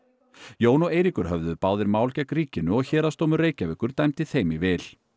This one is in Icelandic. Jón og Eiríkur höfðuðu báðir mál gegn ríkinu og Héraðsdómur Reykjavíkur dæmdi þeim í vil